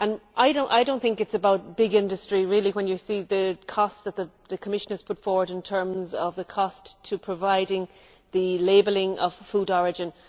I do not think it is about big industry really, when you see the costs that the Commission has put forward in terms of the cost of providing the labelling of food origin.